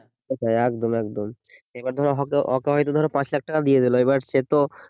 সেটাই একদম একদম এবার ধরো ওকে হয়তো ধরো পাঁচ লাখ টাকা দিয়ে দিল এবার সে তো